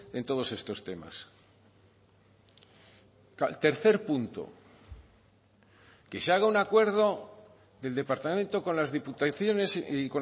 en todos estos temas tercer punto que se haga un acuerdo del departamento con las diputaciones y